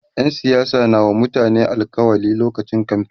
ƴan siyasa na wa mutane alkawali lokacin kamfain